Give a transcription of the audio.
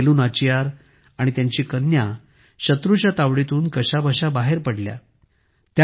राणी वेलू नाचियार आणि त्यांची कन्या शत्रूच्या तावडीतून कशाबशा बाहेर पडल्या